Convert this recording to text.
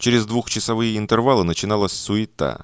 через двухчасовые интервалы начиналось